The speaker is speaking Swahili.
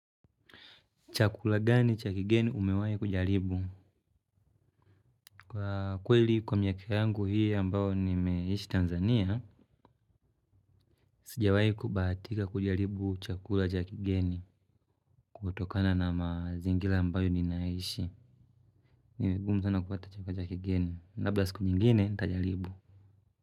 Chakula gani cha kigeni umewahi kujaribu? Kwa kweli kwa miaka yangu hii ambayo nimeishi Tanzania. Sijawahu kubahatika kujaribu chakula cha kigeni. Kutokana na mazingira ambayo ninaishi ni vigumu sana kupata chakula cha kigeni, labda siku nyingine nitajaribu.